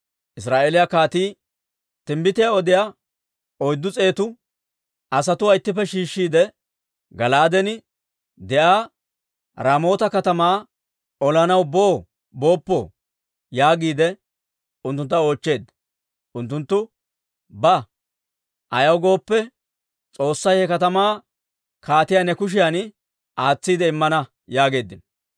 Israa'eeliyaa kaatii timbbitiyaa odiyaa oyddu s'eetuwaa asatuwaa ittippe shiishshiide, «Gala'aaden de'iyaa Raamoota katamaa olanaw boo booppoo?» yaagiide unttuntta oochcheedda. Unttunttu, «Ba; ayaw gooppe, S'oossay he katamaa kaatiyaa ne kushiyan aatsiide immana» yaageeddino.